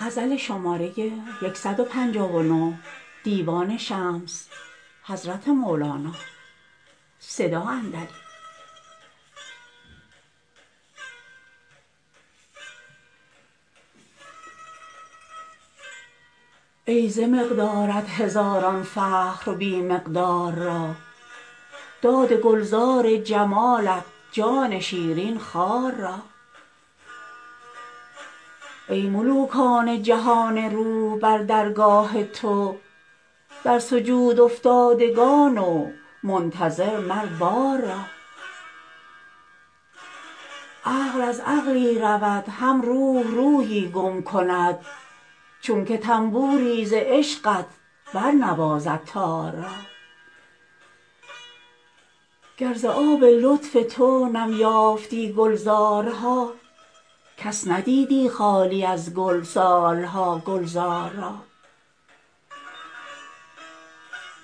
ای ز مقدارت هزاران فخر بی مقدار را داد گلزار جمالت جان شیرین خار را ای ملوکان جهان روح بر درگاه تو در سجودافتادگان و منتظر مر بار را عقل از عقلی رود هم روح روحی گم کند چونک طنبوری ز عشقت برنوازد تار را گر ز آب لطف تو نم یافتی گلزارها کس ندیدی خالی از گل سال ها گلزار را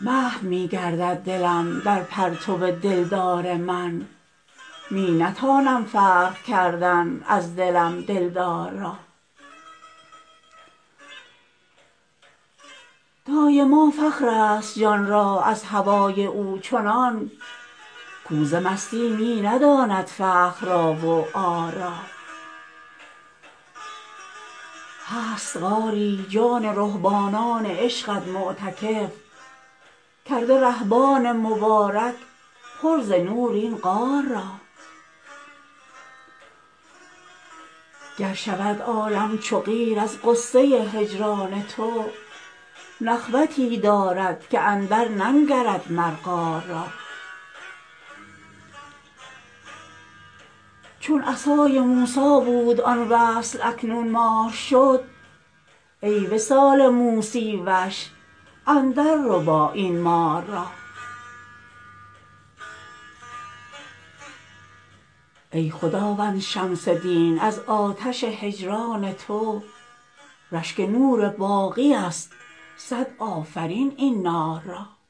محو می گردد دلم در پرتو دلدار من می نتانم فرق کردن از دلم دلدار را دایما فخرست جان را از هوای او چنان کو ز مستی می نداند فخر را و عار را هست غاری جان رهبانان عشقت معتکف کرده رهبان مبارک پر ز نور این غار را گر شود عالم چو قیر از غصه هجران تو نخوتی دارد که اندرننگرد مر قار را چون عصای موسی بود آن وصل اکنون مار شد ای وصال موسی وش اندرربا این مار را ای خداوند شمس دین از آتش هجران تو رشک نور باقی ست صد آفرین این نار را